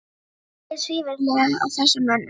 Þú brýtur svívirðilega á þessum mönnum!